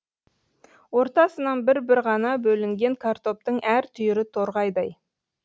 ортасынан бір бір ғана бөлінген картоптың әр түйірі торғайдай